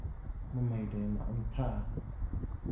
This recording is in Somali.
Ma maydhay macunta?